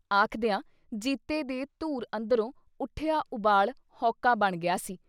ਆਖਦਿਆਂ ਜੀਤੇ ਦੇ ਧੁਰ ਅੰਦਰੋਂ ਉੱਠਿਆ ਉਬਾਲ ਹੌਕਾ ਬਣ ਗਿਆ ਸੀ।